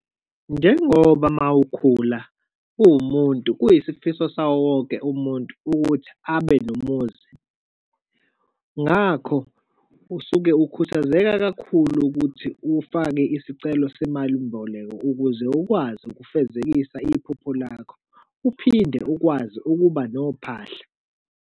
Njengoba uma ukhula uwumuntu, kuyisifiso sawo wonke umuntu ukuthi abe nomuzi, ngakho usuke ukhuthazeka kakhulu ukuthi ufake isicelo semalimboleko ukuze ukwazi ukufezekisa iphupho lakho, uphinde ukwazi ukuba nophahla.